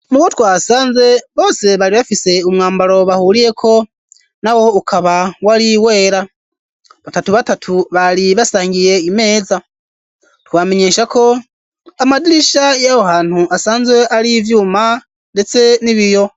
Mubo twahasanze bose bari bafise umwambaro bahuriyeko, nawo ukaba wari wera. Batatu batatu bari basangiye imeza. Twobamenyesha ko amadirisha y'aho hantu asanzwe ari ivyuma ndetse n'ibiyo.